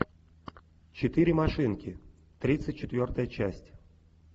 четыре машинки тридцать четвертая часть